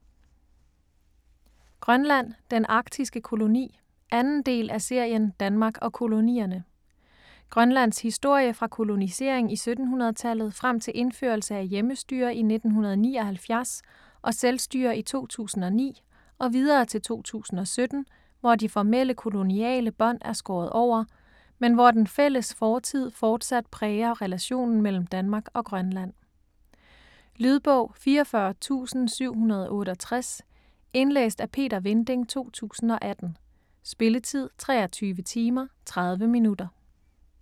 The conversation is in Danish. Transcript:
Grønland: den arktiske koloni 2. del af serien Danmark og kolonierne. Grønlands historie fra kolonisering i 1700-tallet frem til indførelse af hjemmestyre i 1979 og selvstyre i 2009 - og videre til 2017, hvor de formelle koloniale bånd er skåret over, men hvor den fælles fortid forsat præger relationen mellem Danmark og Grønland. Lydbog 44768 Indlæst af Peter Vinding, 2018. Spilletid: 23 timer, 30 minutter.